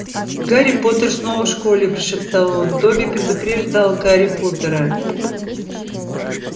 гарри поттер снова в школе прошептал он добби предупреждал гарри поттера